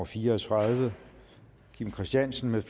fire og tredive kim christiansen